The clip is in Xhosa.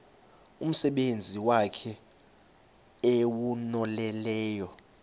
umsebenzi wakhe ewunonelele